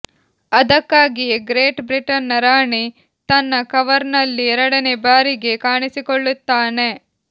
ಅದಕ್ಕಾಗಿಯೇ ಗ್ರೇಟ್ ಬ್ರಿಟನ್ನ ರಾಣಿ ತನ್ನ ಕವರ್ನಲ್ಲಿ ಎರಡನೇ ಬಾರಿಗೆ ಕಾಣಿಸಿಕೊಳ್ಳುತ್ತಾನೆ